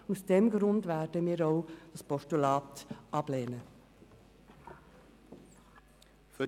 Aus diesem Grund werden wir auch ein Postulat ablehnen.